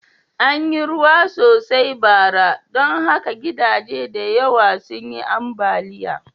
An yi ruwa sosai bara, don haka gidaje da yawa sun yi ambaliya.